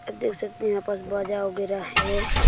देख सकते हैं यहाँ पस बजा वगरह है।